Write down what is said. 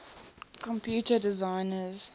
computer designers